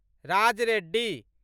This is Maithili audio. राज रेड्डी